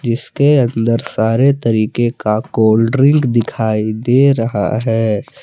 इसके अंदर सारे तरीके का कोल्ड ड्रिंक दिखाई दे रहा है।